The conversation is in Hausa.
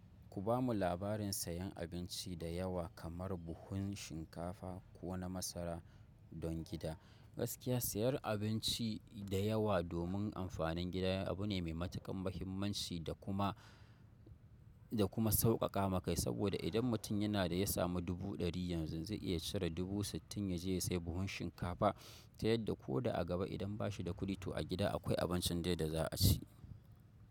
Ku bamu labarin sayan abinci da yawa kamar buhun shinkafa ko na masara don gida. Gaskiya sayar abinci da yawa domin amfanin gida abu ne mai matuƙan muhimmanci da kuma, da kuma sauƙaƙa maka saboda idan mutum yana da ya samu dubu ɗari yanzu zai iya cire dubu sittin ya je ya sayi buhun shinkafa ta yadda ko da a gaba idan bashi da kuɗi to a gida akwai abincin dai da za a ci.